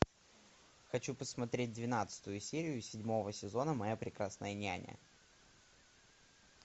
хочу посмотреть двенадцатую серию седьмого сезона моя прекрасная няня